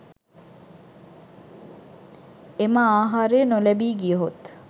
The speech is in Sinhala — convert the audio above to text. එම ආහාරය නොලැබී ගියහොත්